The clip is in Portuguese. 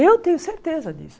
Eu tenho certeza disso.